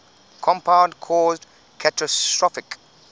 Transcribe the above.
compound caused catastrophic